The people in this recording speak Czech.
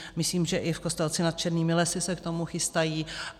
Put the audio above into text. Myslím, že i v Kostelci nad Černými lesy se k tomu chystají.